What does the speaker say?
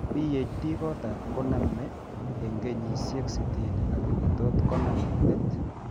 PD kotam koname eng kenyisiek sitini lakini tot konam eng' let